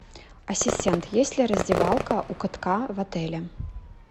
ассистент есть ли раздевалка у катка в отеле